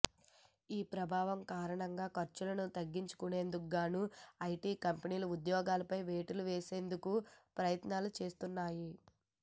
ఈ ప్రభావం కారణంగా ఖర్చులను తగ్గించుకొనేందుకుగాను ఐటీ కంపెనీలు ఉద్యోగులపై వేటు వేసేందుకు ప్రయత్నాలు చేస్తున్నాయి